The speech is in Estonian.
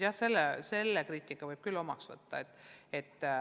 Jah, selle kriitika võib küll omaks võtta.